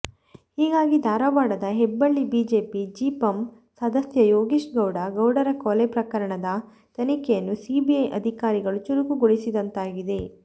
ಹೀಗಾಗಿ ಧಾರವಾಡದ ಹೆಬ್ಬಳ್ಳಿ ಬಿಜೆಪಿ ಜಿಪಂ ಸದಸ್ಯ ಯೋಗೀಶಗೌಡ ಗೌಡರ ಕೊಲೆ ಪ್ರಕರಣದ ತನಿಖೆಯನ್ನು ಸಿಬಿಐ ಅಧಿಕಾರಿಗಳು ಚುರುಕುಗೊಳಿಸಿದಂತಾಗಿದೆ